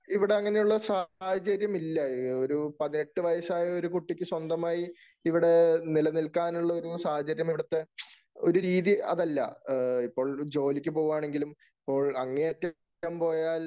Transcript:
ഇവിടെ അങ്ങനെയുള്ള സാഹചര്യം ഇല്ല. ഒരു പതിനെട്ട് വയസ്സായ ഒരു കുട്ടിക്ക് സ്വന്തമായി ഇവിടെ നിലനിൽക്കാനുള്ള ഒരു സാഹചര്യം ഇവിടത്തെ ഒരു രീതി അതല്ല.ഇപ്പോൾ ഒരു ജോലിക്കു പോകുവാണെങ്കിലും അങ്ങേയറ്റം പോയാൽ